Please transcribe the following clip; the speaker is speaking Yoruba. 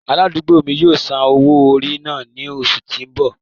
Aladugbo mi yóò san owo-ori náa ni oṣu ti n bọ.